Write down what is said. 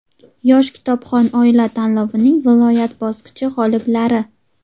"Yosh kitobxon oila" tanlovining viloyat bosqichi g‘oliblari:.